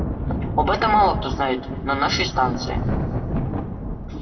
об этом мало кто знает на нашей станции